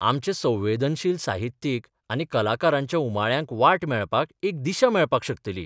आमचे संवेदनशील साहित्यीक आनी कलाकारांच्या उमाळ्यांक वाट मेळपाक एक दिशा मेळपाक शकतली.